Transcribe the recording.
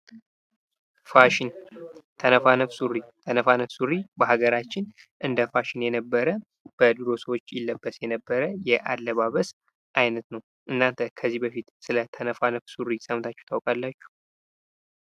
ፋሽን ተነፋነፍ ሱሪ ተነፋነፍ ሱሪ በሀገራችን እንደ ፋሽን የነበረ በድሩ ሰዎች ይለበስ የነበረ አለባበስ አይነት ነው። እናንተ ከዚህ በፊት ስለ ተነፋነፍ ሱሪ ሰምታችሁ ታውቃላችሁ?